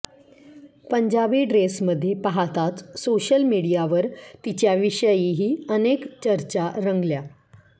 पंजाबी ड्रेसमध्ये पाहताच सोशल मीडियावर तिच्याविषयीही अनेक चर्चा रंगल्या